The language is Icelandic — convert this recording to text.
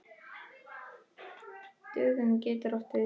Dögun getur átt við